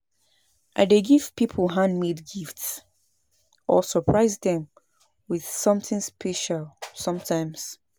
I dey give people handmade gifts or surprise dem with something special sometimes.